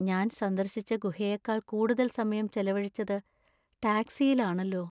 ഞാൻ സന്ദർശിച്ച ഗുഹയേക്കാൾ കൂടുതൽ സമയം ചെലവഴിച്ചത് ടാക്സിയിലാണല്ലോ!